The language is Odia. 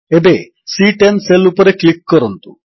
ଏବେ ସି10 ସେଲ୍ ଉପରେ କ୍ଲିକ୍ କରନ୍ତୁ